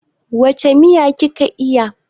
Wace miya ki ka iya?